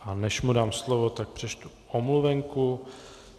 A než mu dám slovo, tak přečtu omluvenku.